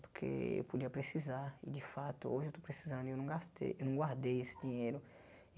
Porque eu podia precisar e de fato hoje eu estou precisando e eu não gastei, eu não guardei esse dinheiro.